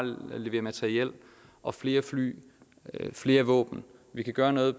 leverer materiel og flere fly og flere våben vi kan gøre noget